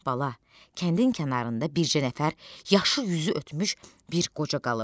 Bala, kəndin kənarında bircə nəfər yaşı yüzü ötmüş bir qoca qalıb.